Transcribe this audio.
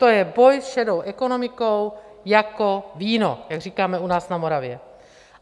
To je boj s šedou ekonomikou jako víno, jak říkáme u nás na Moravě!